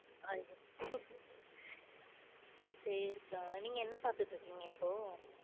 ஐயோ சரி கா. நீங்க என்ன பாத்துட்டு இருக்கீங்க இப்போ?